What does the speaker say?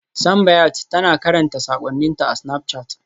Simbiat tana karanta sakonninta a Snapchat.